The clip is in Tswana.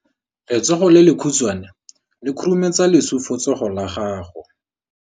Letsogo le lekhutshwane le khurumetsa lesufutsogo la gago.